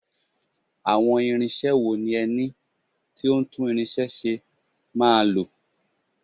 Àwọn irinṣẹ́ wo ni ẹni tó ń tún irinṣẹ́ ṣe máa lò?